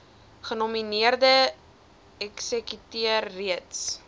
genomineerde eksekuteur reeds